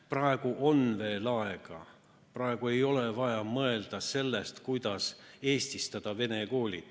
Praegu on veel aega, praegu ei ole vaja mõelda sellest, kuidas eestistada vene koole.